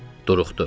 Duruxdu.